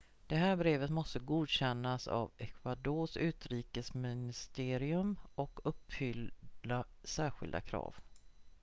det här brevet måste godkännas av ecuadors utrikesministerium och uppfylla särskilda krav